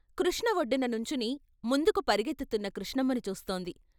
కృష్ణ ఒడ్డున నుంచుని ముందుకు పరుగెత్తుతున్న కృష్ణమ్మని చూస్తోంది.